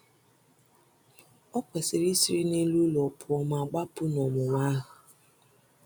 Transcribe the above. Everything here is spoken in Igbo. O kwesịrị isiri n’elu ụlọ pụọ ma gbapụ n’ọnwụnwa ahụ.